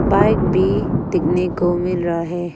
Bike भी देखने को मिल रहा है।